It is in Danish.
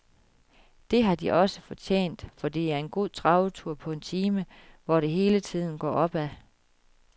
Det har de også fortjent, for det er en god travetur på en time, hvor det hele tiden går opad.